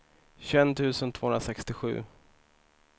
tjugoett tusen tvåhundrasextiosju